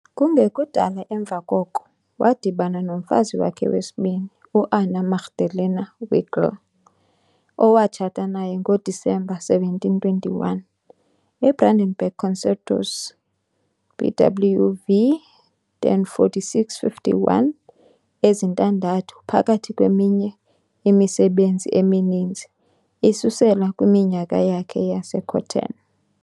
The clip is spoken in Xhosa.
Kungekudala emva koko, wadibana nomfazi wakhe wesibini, u-Anna Magdalena Wilcke, owatshata naye ngoDisemba 1721. IBrandenburg Concertos BWV 1046-51 ezintandathu, phakathi kweminye imisebenzi emininzi, isusela kwiminyaka yakhe yaseCöthen.